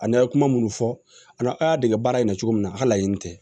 A n'a ye kuma minnu fɔ an na a y'a dege baara in na cogo min na a ka laɲini tɛ